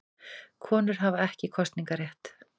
Konur hafa ekki kosningarétt.